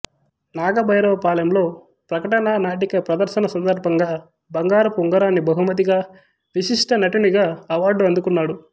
నాగభైరవపాలెంలో ప్రకటన నాటిక ప్రదర్శన సందర్భంగా బంగారపు ఉంగరాన్ని బహుమతిగా విశిష్ట నటునిగా అవార్డు అందుకున్నాడు